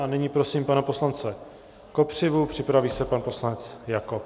A nyní prosím pana poslance Kopřivu, připraví se pan poslanec Jakob.